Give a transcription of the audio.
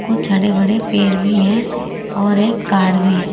कुछ हरे भरे पेड़ भी है और एक कार भी है।